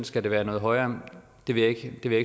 skal være noget højere det vil jeg ikke